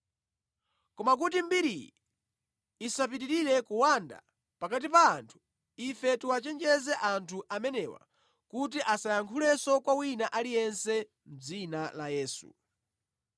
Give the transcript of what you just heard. Koma kuti mbiriyi isapitirire kuwanda pakati pa anthu, ife tiwachenjeze anthu amenewa kuti asayankhulenso kwa wina aliyense mʼdzina la Yesu.”